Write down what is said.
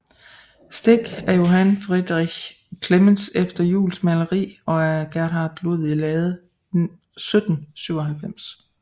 Stik af Johann Friderich Clemens efter Juels maleri og af Gerhard Ludvig Lahde 1797